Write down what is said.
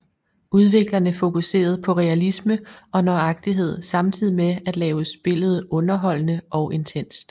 Udviklerne fokuserede på realisme og nøjagtighed samtidig med at lave spillet underholdende og intenst